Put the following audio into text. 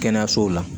Kɛnɛyasow la